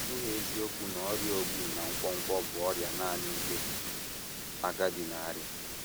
Ọ bụghị eziokwu na ọrịa ogbu na nkwonkwo bụ ọrịa nanị ndị agadi na - arịa.